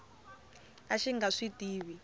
a xi nga swi tivi